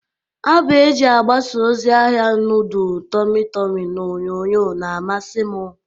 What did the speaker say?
Abụ e ji agbasa ozi ahia nudul tọmị tọmị n'onyonyo na-amasị m.